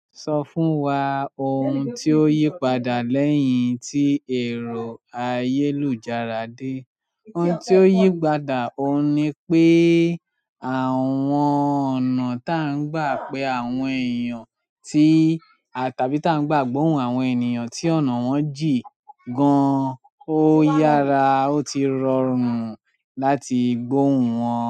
Sọ fún wa ohun tí ó yí padà lẹ́yìn tí èrò àyélujára dé. Ohun tí ó yí padà, òun ni pé àwọn ọ̀nà tá ń gba pé àwọn èèyàn tí a tàbí tá ń gbà gbóhùn àwọn ènìyàn tí ọ̀nà wọn jìn gan-an, ó yára ó ti rọrùn láti gbóhùn wọn.